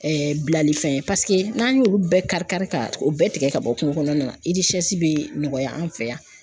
bilali fɛn ye paseke n'an y'olu bɛɛ kari-kari ka o bɛɛ tigɛ ka bɔ kungo kɔnɔna na bɛ nɔgɔya an fɛ yan.